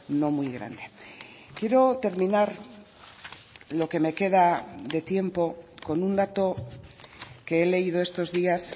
no muy grande quiero terminar lo que me queda de tiempo con un dato que he leído estos días